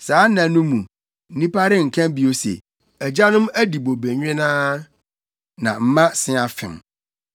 Saa nna no mu, nnipa renka bio se, “ ‘Agyanom adi bobe nwennaa, na mma se afem.’